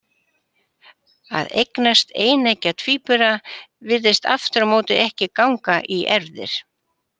Að eignast eineggja tvíbura virðist aftur á móti ekki ganga í erfðir.